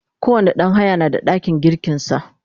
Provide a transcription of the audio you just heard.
kowani ɗan haya na da ɗakin girkin sa